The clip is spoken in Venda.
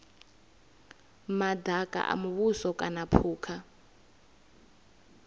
madaka a muvhuso kana phukha